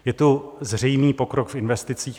Je tu zřejmý pokrok v investicích.